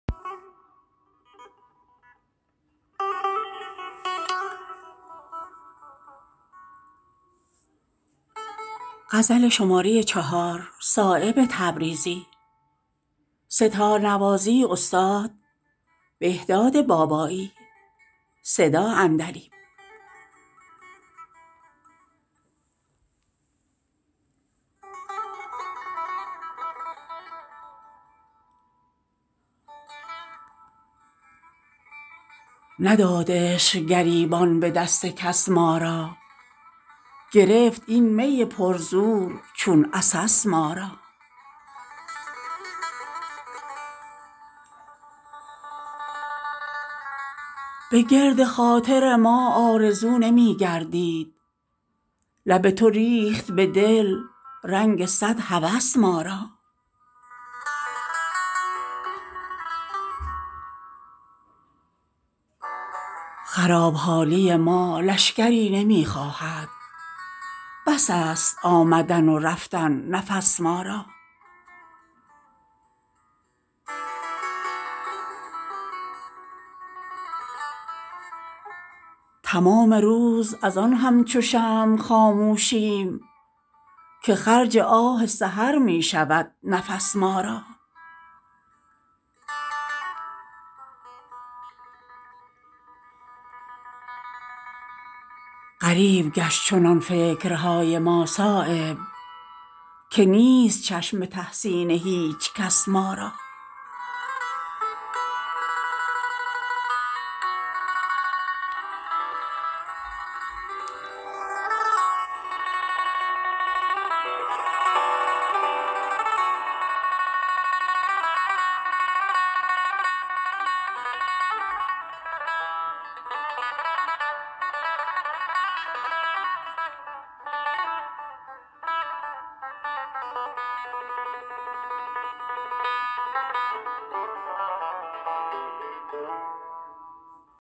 نداد عشق گریبان به دست کس ما را گرفت این می پر زور چون عسس ما را اگر چه سگ به مرس می کشند صیادان کشیده است سگ نفس در مرس ما را تمام روز ازان همچو شمع خاموشیم که خرج آه سحر می شود نفس ما را فغان که منزل دور و دراز وادی عشق نکرد دل تهی از ناله چون جرس ما را خراب حالی ما لشکری نمی خواهد بس است آمدن و رفتن نفس ما را ترا که پای گلی هست می به ساغر کن که زهد خشک کشیده است در قفس ما را به گرد خاطر ما آرزو نمی گردید لب تو ریخت به دل رنگ صد هوس ما را اگر چه در قفس افتاده ایم از گلزار ز گل نمی گسلد رشته نفس ما را شکسته بال و پرانیم جای آن دارد که باغبان کند از چوب گل قفس ما را غریب گشت چنان فکرهای ما صایب که نیست چشم به تحسین هیچ کس ما را